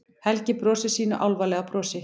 Helgi brosir sínu álfalega brosi.